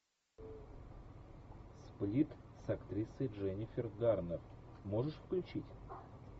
сплит с актрисой дженнифер гарнер можешь включить